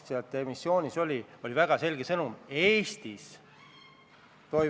Austatud ettekandja, teile rohkem küsimusi ei ole.